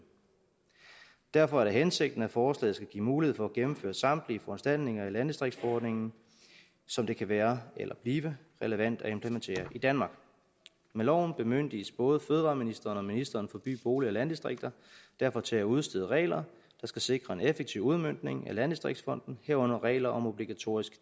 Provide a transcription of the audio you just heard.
derfor er det hensigten at forslaget skal give mulighed for at gennemføre samtlige foranstaltninger i landdistriktsforordningen som det kan være eller blive relevant at implementere i danmark med loven bemyndiges både fødevareministeren og ministeren for by bolig og landdistrikter derfor til at udstede regler der skal sikre en effektiv udmøntning af landdistriktsfonden herunder regler om obligatorisk